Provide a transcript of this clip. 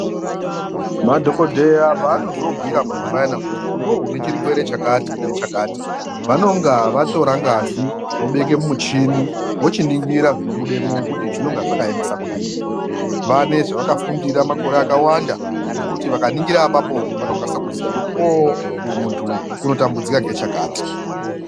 Madhogobheya paanozo bhuira muntu payana kuti iveve une chirwere chakati nechakati vanonga vatora ngazi vobeke mumuchini vochiningira zvinobudemwo kuti zvinonga zvakaemesa kudini. Vane zvavakafundira makore akawanda zvekuti vakaningira apapo vanokwanisa kuziya kuti oo uyu muntu unotambudzika ngechakati.